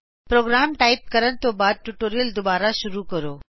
programme type ਕਰਨ ਤੋ ਬਾਦ ਟਿਯੂਟੋਰਿਅਲ ਦੁਬਾਰਾ ਸ਼ੁਰੂ ਕਰੋ